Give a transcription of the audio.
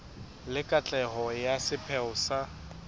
le katleho ya sepheo sa